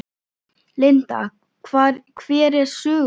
Linda: Hver er söguþráðurinn?